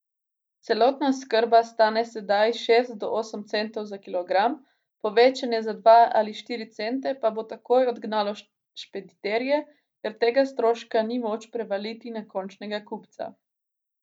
Celotna oskrba stane sedaj šest do osem centov za kilogram, povečanje za dva ali štiri cente pa bo takoj odgnalo špediterje, ker tega stroška ni moč prevaliti na končnega kupca.